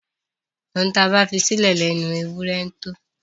Ohun tí a bá fisílẹ̀ lẹnu ewúrẹ ńtó.